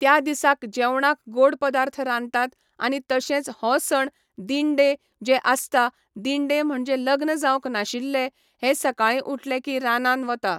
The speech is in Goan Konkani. त्या दिसाक जेवणाक गोड पदार्थ रांदतात आनी तशेंच हो सण दिण्डे जे आसता दिण्डे म्हणजे लग्न जावंक नाशिल्ले हे सकाळी उटले की रानान वता